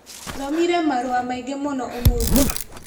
Thomire marũa maingĩ mũno ũmũthĩ.